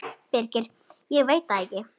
Birgir: Ég veit það ekkert.